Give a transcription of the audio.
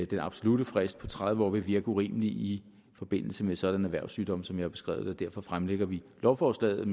den absolutte frist på tredive år vil virke urimelig i forbindelse med sådanne erhvervssygdomme som jeg har beskrevet det derfor fremsætter vi lovforslaget